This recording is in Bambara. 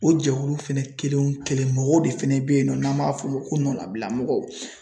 O jɛkulu fɛnɛ kelen o kelen mɔgɔw de fɛnɛ bɛ yen nɔ n'an m'a fɔ o ma ko nɔnnabila mɔgɔw.